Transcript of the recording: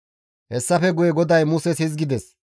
Hessafe guye GODAY Muses hizgides,